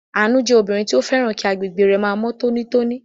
Àánú jẹ́ obìnrin tó fẹ́ràn kí agbègbè rẹ̀ máa mọ́ tónítóní.